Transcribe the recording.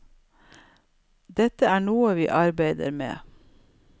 Dette er noe vi arbeider med.